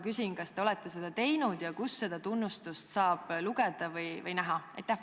Kas te olete seda teinud ja kus sellest tunnustusest saab lugeda või kus seda näha saab?